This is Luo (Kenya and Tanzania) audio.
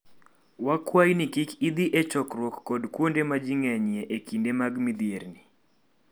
Wakwayi ni kik idhi e chokruok kod kuonde ma ji ng'enyie e kinde mag midhierni.